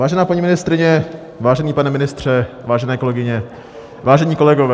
Vážená paní ministryně, vážený pane ministře, vážené kolegyně, vážení kolegové.